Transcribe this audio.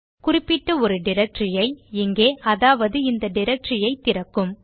குறிப்பிட்ட ஒரு டைரக்டரி ஐ இங்கே அதாவது இந்த டைரக்டரி ஐ திறக்கும்